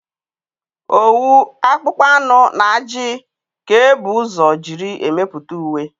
Owu, akpụkpọ anụ na ajị ka e bu ụzọ jírí emepụta uwe.